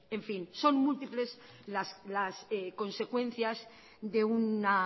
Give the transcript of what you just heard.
en fin son múltiples las consecuencias de una